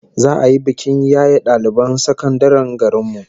Za'a yi bikin yaye daliban sakandaren garin mu